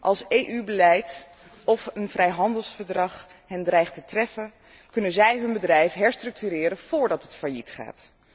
Als EU beleid of een vrijhandelsverdrag hen dreigt te treffen, kunnen zij hun bedrijf herstructureren, voordat het failliet gaat.